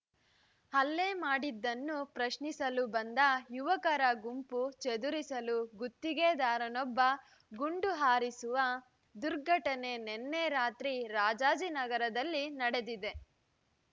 ಹಲ್ಲೆ ಮಾಡಿದ್ದನ್ನು ಪ್ರಶ್ನಿಸಲು ಬಂದ ಯುವಕರ ಗುಂಪು ಚದುರಿಸಲು ಗುತ್ತಿಗೆದಾರನೊಬ್ಬ ಗುಂಡು ಹಾರಿಸಿರುವ ದುರ್ಘಟನೆ ನಿನ್ನೆ ರಾತ್ರಿ ರಾಜಾಜಿನಗರದಲ್ಲಿ ನಡೆದಿದೆ